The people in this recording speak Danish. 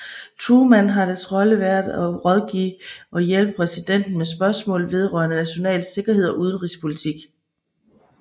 Truman har dets rolle været at rådgive og hjælpe præsidenten med spørgsmål vedrørende national sikkerhed og udenrigspolitik